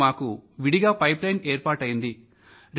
ఇప్పుడు మాకు విడిగా గొట్టపుమార్గం ఏర్పాటైంది